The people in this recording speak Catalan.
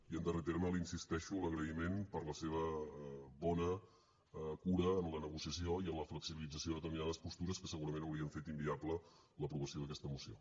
i en darrer terme li insisteixo en l’agraïment per la seva bona cura en la negociació i en la flexibilització de determinades postures que segurament haurien fet inviable l’aprovació d’aquesta moció